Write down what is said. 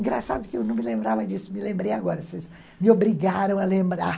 Engraçado que eu não me lembrava disso, me lembrei agora, vocês me obrigaram a lembrar.